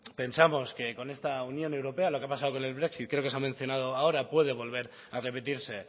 pensamos que con esta unión europea lo que ha pasado con el brexit creo que se ha mencionado ahora puede volver a repetirse